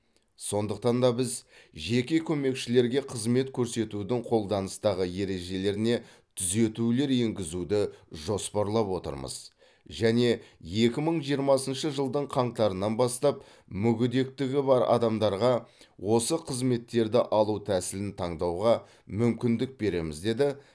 сондықтан біз жеке көмекшілерге қызмет көрсетудің қолданыстағы ережелеріне түзетулер енгізуді жоспарлап отырмыз және екі мың жиырмасыншы жылдың қаңтарынан бастап мүгедектігі бар адамарға осы қызметтерді алу тәсілін таңдауға мүмкіндік береміз деді